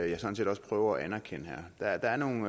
jeg sådan set også prøver at anerkende der er nogle